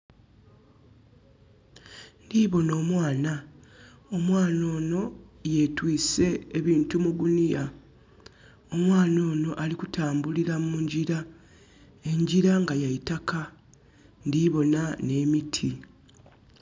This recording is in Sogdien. Ndhi bona omwana. Omwana ono yetwiise ebintu mu guniya. Omwana ono ali kutambulira mu ngira, engira nga ya itaka. Ndhi bona n'emiti.